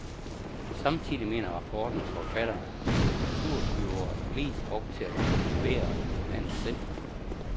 Samtidig, mener rapportens forfatter, bliver kulturbyåret mest brugt til at promovere landet selv.